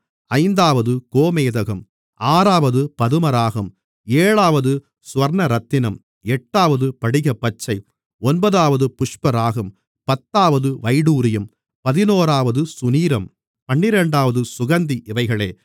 ஐந்தாவது கோமேதகம் ஆறாவது பதுமராகம் ஏழாவது சுவர்ணரத்தினம் எட்டாவது படிகப்பச்சை ஒன்பதாவது புஷ்பராகம் பத்தாவது வைடூரியம் பதினோராவது சுநீரம் பன்னிரண்டாவது சுகந்தி இவைகளே